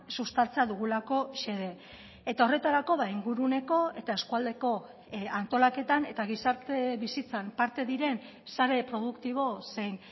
sustatzea dugulako xede eta horretarako inguruneko eta eskualdeko antolaketan eta gizarte bizitzan parte diren sare produktibo zein